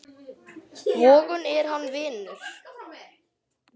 Vogun er hann, vinur minn.